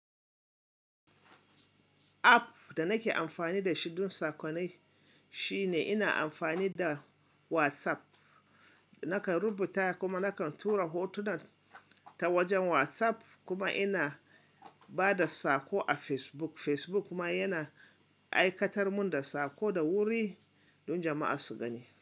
App da nake amfani da shi don sakonai shine ina amfani da WhatsApp. Nakan rubuta kuma nakan tura hotuna ta wajen WhatsApp kuma ina ba da sako a Facebook. Facebook kuma yana aikatar mun da sako da wuri don jama'a su gani.